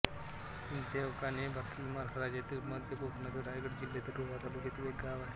देवकान्हे हे भारतातील महाराष्ट्र राज्यातील मध्य कोकणातील रायगड जिल्ह्यातील रोहा तालुक्यातील एक गाव आहे